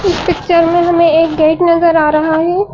इस पिक्चर में हमें एक गेट नजर आ रहा है।